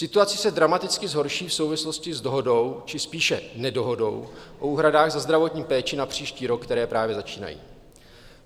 Situace se dramaticky zhorší v souvislosti s dohodou, či spíše nedohodou o úhradách za zdravotní péči na příští rok, které právě začínají.